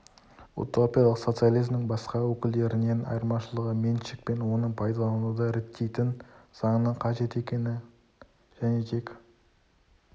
утопиялық социализмнің басқа өкілдерінен айырмашылығы меншік пен оны пайдалануды реттейтін заңның қажет екенін және тек